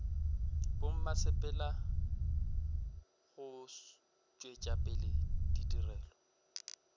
bommasepala go tšwetša pele ditirelo